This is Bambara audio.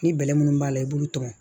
Ni bɛlɛn minnu b'a la i b'olu tɔmɔ